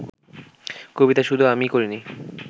কবিতায় শুধু আমিই করিনি